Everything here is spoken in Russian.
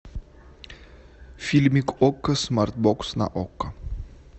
фильмик окко смарт бокс на окко